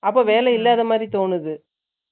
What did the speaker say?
அப்போ, வேலை இல்லாத மாரி, தோணுது.